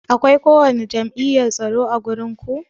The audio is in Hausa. Akwai ko wani jam'iyyan tsaro ã wurin ku?